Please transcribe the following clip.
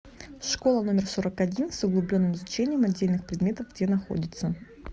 школа номер сорок один с углубленным изучением отдельных предметов где находится